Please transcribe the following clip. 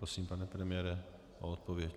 Prosím, pane premiére, o odpověď.